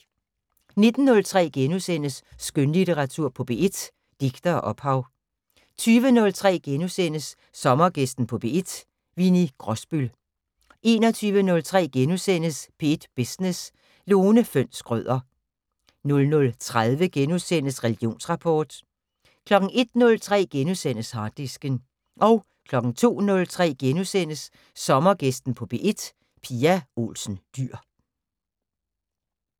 19:03: Skønlitteratur på P1: Digte og ophav * 20:03: Sommergæsten på P1: Winni Grosbøll * 21:03: P1 Business: Lone Fønss Schrøder * 00:30: Religionsrapport * 01:03: Harddisken * 02:03: Sommergæsten på P1: Pia Olsen Dyhr *